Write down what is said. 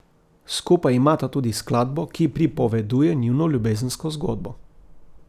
Skupaj imata tudi skladbo, ki pripoveduje njuno ljubezensko zgodbo.